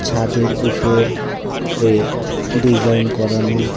ছাদের উপর রে ডিজাইন করানো।